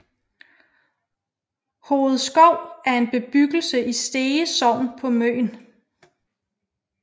Hovedskov er en bebyggelse i Stege Sogn på Møn